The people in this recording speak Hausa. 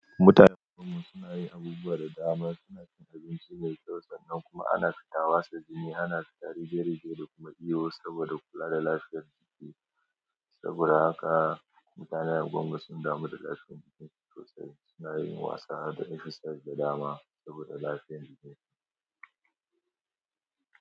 Mutanen Gombe suna yin abubuwa da dama. Suna cin abinci mai kyau, sannan kuma ana fita wasa jini, ana fita, rige rige da kuma iyo saboda kula da lafiyar jiki. Saboda haka mutanen unguwan mu sun damu da lafiyar jikin su, sosai suna yin wasa da ita da dama saboda lafiyar jiki.